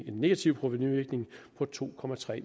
negativ provenuvirkning på to